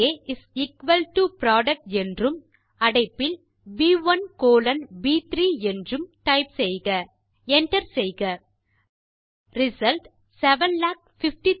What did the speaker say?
இங்கே is equal to product என்றும் அடைப்பில் ப்1 கோலோன் ப்3 என்றும் டைப் செய்க Enter செய்க ரிசல்ட் 750000